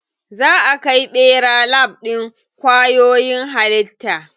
Za a kai ɓera lab ɗin kwayoyin halitta.